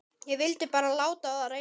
Ég vildi bara láta á það reyna.